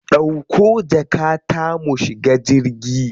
Dauko jakata mu shiga jirgi.